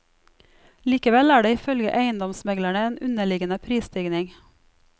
Likevel er det ifølge eiendomsmeglerne en underliggende prisstigning.